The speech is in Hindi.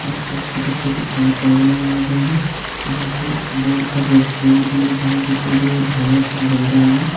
आस पास छोटे छोटे पेड़ पौधे लगाए गए हैं यहां पे बोर्ड पर रेस्टोरेंट भी लिखा है जो कि झालर से झल रहा है।